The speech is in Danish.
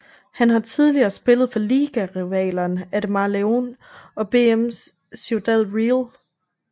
Han har tidligere spillet for ligarivalerne Ademar León og BM Ciudad Real